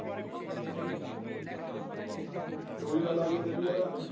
ਫਿਰ ਉਹੀ ਗੱਲ ਆ ਗਈ ਅਖੇ ਵੀ ਯਾਰ।